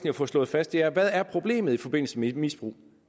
at få slået fast er hvad er problemet i forbindelse med misbrug